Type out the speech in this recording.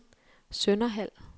Sønderhald